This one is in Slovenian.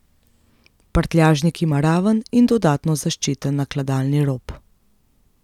Prtljažnik ima raven in dodatno zaščiten nakladalni rob.